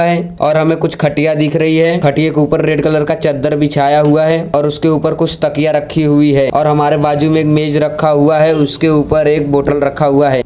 और हमे कुछ खटिया दिख रही है खटिया के ऊपर रेड कलर का चद्दर बिछाया हुआ है और उसके ऊपर कुछ तकिया रखी हुई है और हमारे बाजू में एक मेज रखा हुआ है और उसके ऊपर एक बोतल रखा हुआ है।